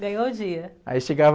Ganhou o dia.í chegava...